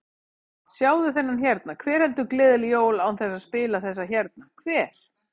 Sjáðu þennan hérna, hver heldur gleðileg jól án þess að spila þessa hérna, hver?